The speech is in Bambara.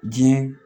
Diɲɛ